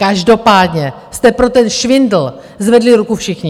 Každopádně jste pro ten švindl zvedli ruku všichni.